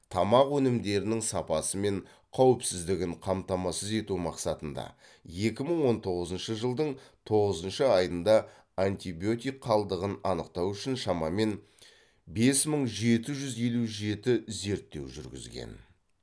тамақ өнімдерінің сапасы мен қауіпсіздігін қамтамасыз ету мақсатында екі мың он тоғызыншы жылдың тоғызыншы айында антибиотик қалдығын анықтау үшін шамамен бес мың жеті жүз елу жеті зерттеу жүргізген